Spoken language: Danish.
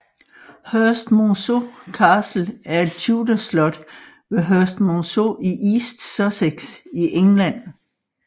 Herstmonceux Castle er et Tudorslot ved Herstmonceux i East Sussex i England